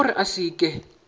ke gore a se ke